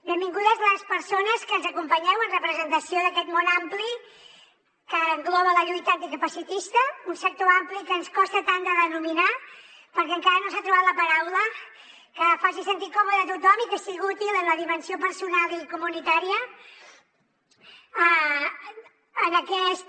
benvingudes les persones que ens acompanyeu en representació d’aquest món ampli que engloba la lluita anticapacitista un sector ampli que ens costa tant de denominar perquè encara no s’ha trobat la paraula que faci sentir còmode a tothom i que sigui útil en la dimensió personal i comunitària en aquesta